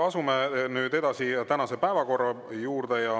Asume nüüd tänase päevakorra juurde.